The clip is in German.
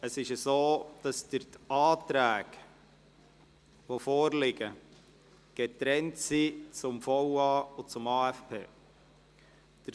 Es ist so, dass die vorliegenden Anträge zum VA und zum AFP getrennt sind.